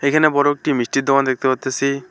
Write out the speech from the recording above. এখানে বড় একটি মিষ্টির দোকান দেখতে পারতেসি।